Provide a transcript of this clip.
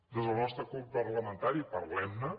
des del nostre grup parlamentari parlem ne